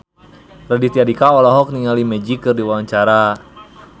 Raditya Dika olohok ningali Magic keur diwawancara